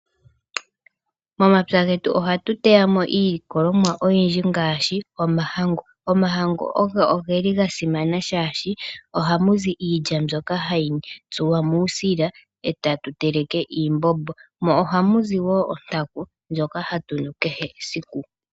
Momapya getu ohatu teyamo iilikolomwa oyindji ngaashi omahangu. Omahangu ogeli ga simana shaashi ohamu zi iilya mbyoka hayi tsuwa muusila etatu teleke iimbombo, mo ohamu zi wo ontaku ndjoka hatu nu kehe esiku.